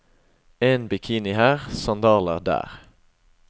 En bikini her, sandaler der.